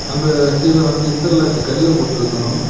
அந்த கீழ வந்து இன்டெர்லாக்கு கல்லு போட்ருக்கணும்.